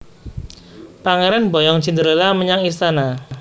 Pangéran mboyong Cinderella menyang istana